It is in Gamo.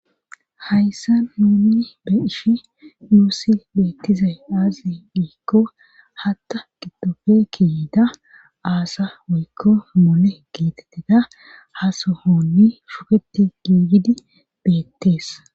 Hayssa nuunni be ishi nuussi beettizay aazi dhiikko hatta giddofe kiyida aasa woykko mole geetetteda hasohonmi shuketi giigidi beettees